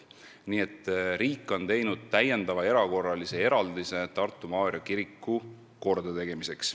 Nii et riik on teinud täiendava erakorralise eraldise Tartu Maarja kiriku kordategemiseks.